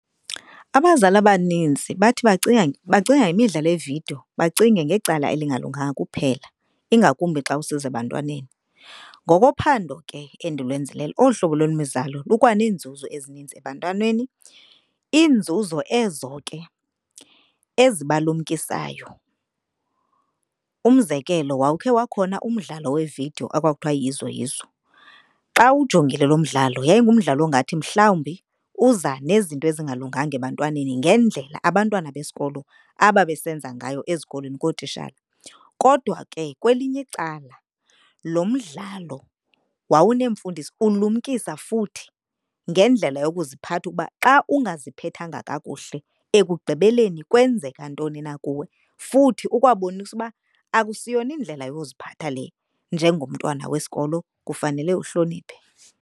Abazali abaninzi bathi bacinga ngemidlalo yevidiyo bacinge ngecala elingalunganga kuphela ingakumbi xa usiza ebantwaneni. Ngoko phando ke endulwenzileyo olu hlobo lwemizamo lukwa neenzuzo ezininzi ebantwaneni. Iinzuzo ezo ke ezibalumkisayo. Umzekelo, wawukhe wakhona umdlalo wevidiyo ekwakuthwa yiYizo Yizo. Xa uwujongile lo mdlalo yayingumdlalo ongathi mhlawumbi uza nezinto ezingalunganga ebantwaneni ngendlela abantwana besikolo ababesenza ngayo ezikolweni kootishala. Kodwa ke kwelinye icala lo mdlalo wawuneemfundiso, ulumkisa futhi ngendlela yokuziphatha ukuba xa ungaziphethanga kakuhle ekugqibeleni kwenzeka ntoni na kuwe. Futhi ukwabonisa uba akusiyona indlela yoziphatha le, njengomntwana wesikolo kufanele uhloniphe.